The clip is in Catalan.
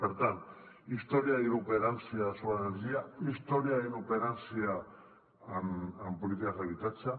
per tant història i inoperància sobre l’energia història i inoperància en polítiques d’habitatge